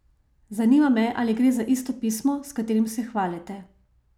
Zanima me, ali gre za isto pismo, s katerim se hvalite.